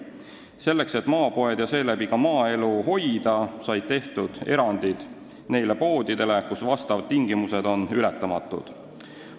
Selleks, et maapoode ja seeläbi ka maaelu hoida, said tehtud erandid neile poodidele, kus need takistused on ületamatud.